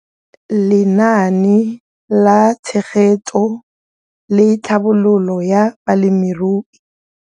Lenaane la Tshegetso le Tlhabololo ya Balemirui.